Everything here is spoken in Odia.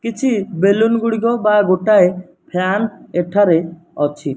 କିଛି ବେଲୁନ ଗୁଡ଼ିକ ବା ଗୋଟାଏ ଫ୍ୟାନ ଏଠାରେ ଅଛି।